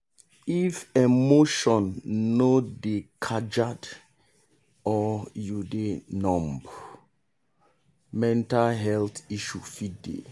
if your emotion no dey kajad or you dey numb mental health issue fit dey.